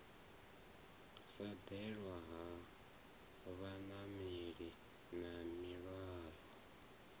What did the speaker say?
ḓalesa ha vhanameli na mihwalo